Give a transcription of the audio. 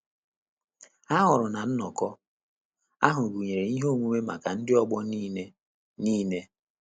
Ha hụrụ na nnọkọ ahụ gụnyere ihe omume maka ndị ọgbọ niile. niile.